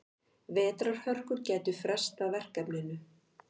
Vetrarhörkur gætu frestað verkefninu.